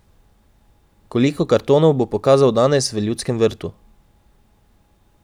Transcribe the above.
Koliko kartonov bo pokazal danes v Ljudskem vrtu?